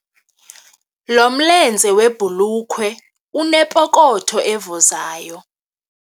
Lo mlenze webhulukhwe unepokotho evuzayo.